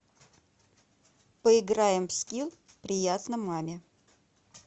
поиграем в скилл приятно маме